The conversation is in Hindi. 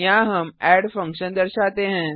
यहाँ हम एड फंक्शन दर्शाते हैं